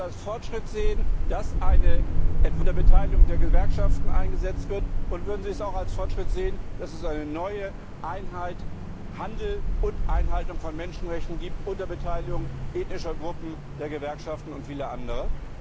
Würden sie es als Fortschritt sehen, dass eine unter Beteiligung der Gewerkschaften eingesetzt wird, und würden sie es auch als Fortschritt sehen, dass es eine neue Einheit Handel und Einhaltung von Menschenrechten gibt, unter Beteiligung ethnischer Gruppen, der Gewerkschaften und vieler anderer?